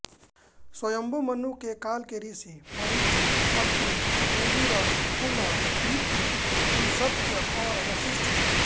स्वायम्भु मनु के काल के ऋषि मरीचि अत्रि अंगिरस पुलह कृतु पुलस्त्य और वशिष्ठ हुए